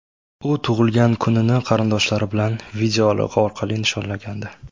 U tug‘ilgan kunini qarindoshlari bilan videoaloqa orqali nishonlagandi .